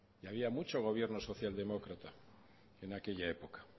había mucho gobierno socialdemócrata en aquella época